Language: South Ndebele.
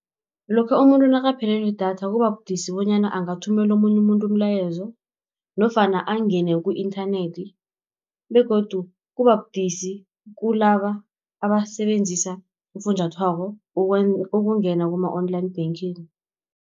Lokha umuntu nakaphelelwe yidatha kuba budisi bonyana angathumela omunye umuntu umlayezo, nofana angene ku-inthanethi, begodu kuba budisi kunalaba abasebenzisa ufunjathwako ukungena kuma-online banking.